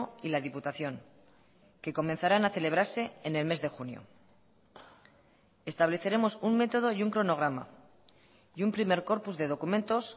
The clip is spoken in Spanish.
y la diputación que comenzarán a celebrarse en el mes de junio estableceremos un método y un cronograma y un primer corpus de documentos